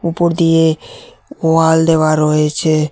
উপর দিয়ে ওয়াল দেওয়া রয়েচে।